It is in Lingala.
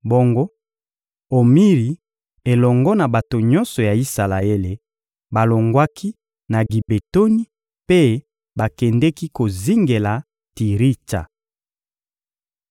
Bongo Omiri elongo na bato nyonso ya Isalaele balongwaki na Gibetoni mpe bakendeki kozingela Tiritsa.